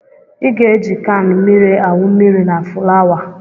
I ga-eji kan mmiri awụ mmiri na fulawa